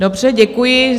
Dobře, děkuji.